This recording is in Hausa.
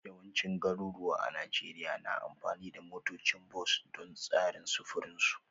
Yawancin garuruwa a Najeriya na amfani da motocin bas don tsarin sufurin su